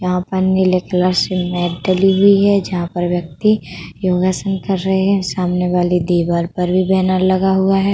यहाँ पर नीले कलर से मेट डली हुई है जहां पर व्यक्ति योगासन कर रहे हैं। सामने दीवार पर भी बैनर लगा हुआ है।